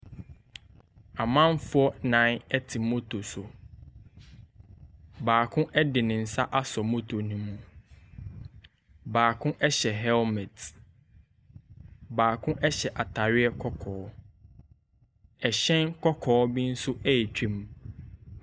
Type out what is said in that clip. Amanfoɔ nnan te moto so. Baako de ne nsa asɔ moto no mu. Baako hyɛ helmet. Baako hyɛ atareɛ kɔkɔɔ. Hyɛn kɔkɔɔ bi nso retwam.